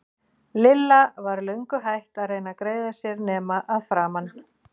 Lilla var löngu hætt að reyna að greiða sér nema að framan.